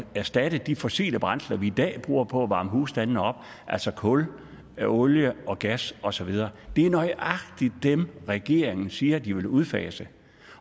erstatte de fossile brændsler vi i dag bruger på at varme husstandene op altså kul olie og gas og så videre og det er nøjagtig dem regeringen siger de vil udfase